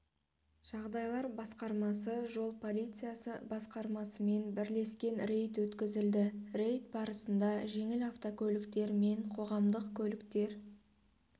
жағдайлар басқармасы жол полициясы басқармасымен бірлескен рейд өткізілді рейд барысында жеңіл автокөліктер мен қоғамдық көліктер